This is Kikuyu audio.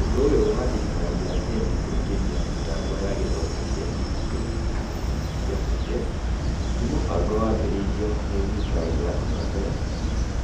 Ũndũ ũyũ wa thirikari ya Kenya kũingĩria mĩtambo ya gĩthomo kĩa ndinjito cukuru-inĩ cia mũingĩ, nĩ mũbango wambĩrĩirio nĩ thirikari ya hau kabere,